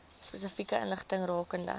spesifieke inligting rakende